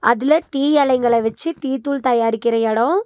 அதுல டீ எலைங்கள வெச்சு டீ தூள் தயாரிக்கற எடோ.